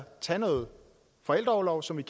tage noget forældreorlov som vi